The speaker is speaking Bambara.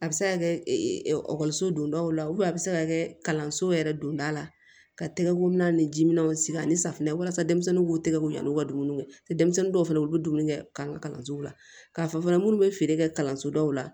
A bɛ se ka kɛ ekɔliso dondaw la a bɛ se ka kɛ kalanso yɛrɛ donda la ka tɛgɛ ko minɛ ni ji minɛnw sigi ani safunɛw walasa denmisɛnninw b'u tɛgɛko yan n'u ka dumuni kɛ denmisɛnnin dɔw fana u bɛ dumuni kɛ an ka kalansow la k'a fɔ fana minnu bɛ feere kɛ kalanso dɔw la